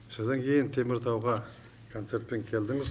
содан кейін теміртауға концертпен келдіңіз